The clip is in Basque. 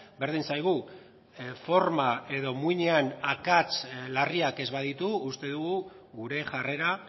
berdin zaigu forma edo muinean akats larriak ez baditu uste dugu gure jarrera